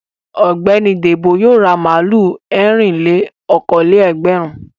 Ọ̀gbẹ́ni Débò yóò ra màlúù ẹ̀rìn-lé-okòó-lé-ẹgbẹ̀rún.